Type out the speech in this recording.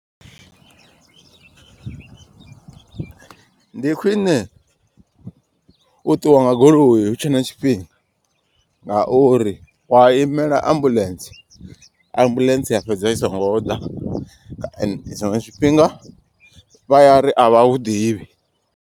Ndi khwine u ṱuwa nga goloi hutshe na tshifhinga. Ngauri wa imela ambuḽentse ambuḽentse ya fhedza i songo ḓa. Tshiṅwe tshifhinga vha ya ri a vha hu ḓivhi.